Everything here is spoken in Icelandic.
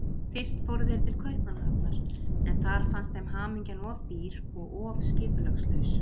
Fyrst fóru þeir til Kaupmannahafnar, en þar fannst þeim hamingjan of dýr og of skipulagslaus.